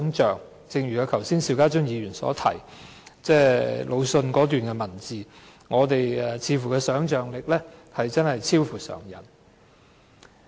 正如剛才邵家臻議員引述魯迅的一段文字所言，我們的想象力似乎真的超乎常人。